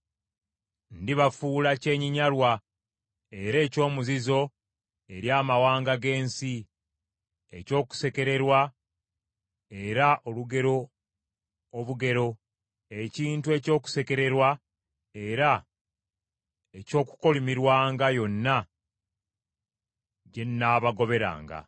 ‘Ndibafuula kyennyinnyalwa era eky’omuzizo eri amawanga g’ensi, eky’okusekererwa era olugero obugero, ekintu eky’okusekererwa era eky’okukolimirwanga yonna gye nnaabagoberanga.